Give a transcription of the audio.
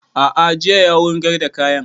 A'a jiya ya wurgar da kayan